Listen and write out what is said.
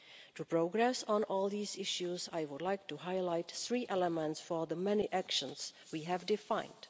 To progress on all these issues, I would like to highlight three elements for the many actions we have defined.